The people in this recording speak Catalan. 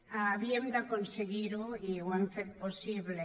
havíem d’aconseguir ho i ho hem fet possible